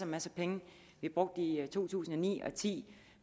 masser af penge vi brugte i to tusind og ni og ti